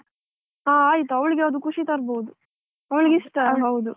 ಹ ಆಯ್ತು ಅವಳಿಗೆ ಅದು ಖುಷಿ ತರ್ಬೋದು ಅವಳಿಗೆ ಇಷ್ಟ ಹೌದು.